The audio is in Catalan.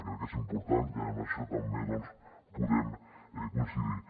crec que és important i en això també doncs podem coincidir hi